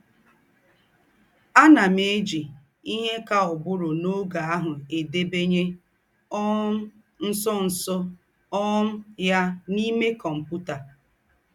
“ Ànà m éjì íhe kà ùgbùrù n’ógè àhụ̀ èdèbanyè um ńsọ̀nsọ̀ um ya n’íme kọ́mputà. ”